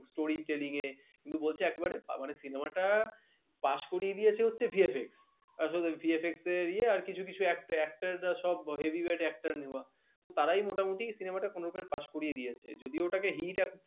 কিন্তু বলছে একেবারে মানে cinema টা pass করিয়ে দিয়েছে হচ্ছে VFX আসলে VFX এ ইয়ে আর কিছু কিছু actor actor রা সব heavy weight actor নেওয়া তো তারাই মোটামুটি cinema টা কোনরকমে pass করিয়ে দিয়েছে। যদিও ওটাকে hit